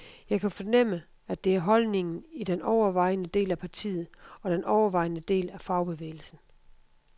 Jeg kan fornemme, at det er holdningen i den overvejende del af partiet og den overvejende del af fagbevægelsen.